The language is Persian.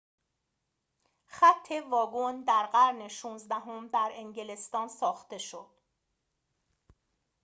خط واگن در قرن ۱۶ام در انگلستان ساخته شد